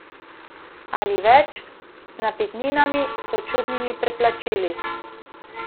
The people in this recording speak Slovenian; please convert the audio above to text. Ali več, z napitninami, sočutnimi preplačili.